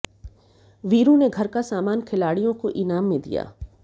वीरू ने घर का सामान खिलाड़ियों को इनाम में दिया